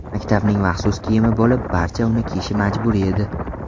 Maktabning maxsus kiyimi bo‘lib, barcha uni kiyishi majburiy edi.